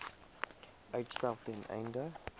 uitstel ten einde